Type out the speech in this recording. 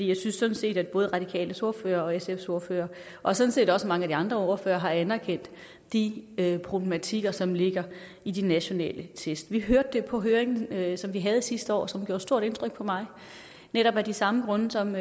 jeg synes sådan set at både de radikales ordfører og sfs ordfører og sådan set også mange af de andre ordførere har anerkendt de problematikker som ligger i de nationale test vi hørte det på høringen som vi havde sidste år og som gjorde stort indtryk på mig netop af de samme grunde som